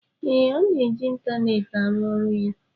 ee, ọ na-eji ịntaneetị arụ ọrụ ya